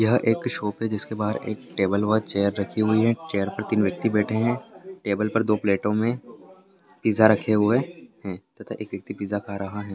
यह एक शॉप है जिसके बाहर एक टेबल और चेयर रखी हुई है चेयर पे तीन व्यक्ति बैठे हैं टेबल पे दो प्लेटो में पिज़्ज़ा रखे हुए है तथा एक व्यक्ति पिज़्ज़ा खा रहा है।